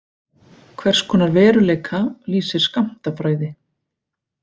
Hvers konar veruleika lýsir skammtafræði?